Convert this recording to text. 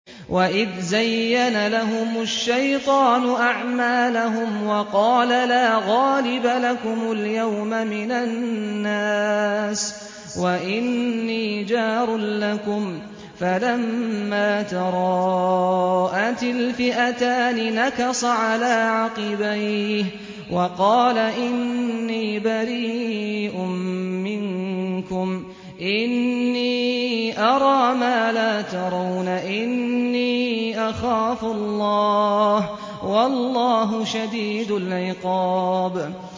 وَإِذْ زَيَّنَ لَهُمُ الشَّيْطَانُ أَعْمَالَهُمْ وَقَالَ لَا غَالِبَ لَكُمُ الْيَوْمَ مِنَ النَّاسِ وَإِنِّي جَارٌ لَّكُمْ ۖ فَلَمَّا تَرَاءَتِ الْفِئَتَانِ نَكَصَ عَلَىٰ عَقِبَيْهِ وَقَالَ إِنِّي بَرِيءٌ مِّنكُمْ إِنِّي أَرَىٰ مَا لَا تَرَوْنَ إِنِّي أَخَافُ اللَّهَ ۚ وَاللَّهُ شَدِيدُ الْعِقَابِ